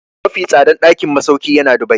Mafi tsadan ɗakin masauki yana Dubai.